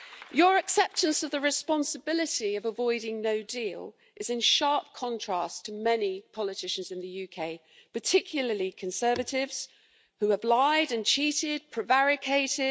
Your acceptance of the responsibility of avoiding no deal is in sharp contrast to many politicians in the UK particularly Conservatives, who have lied, cheated and prevaricated.